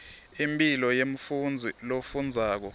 impilo yemfundzi lofundzako